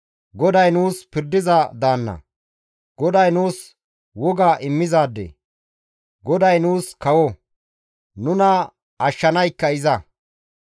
GODAY nuus pirdiza daanna; GODAY nuus woga immizaade; GODAY nuus kawo; nuna ashshanaykka iza.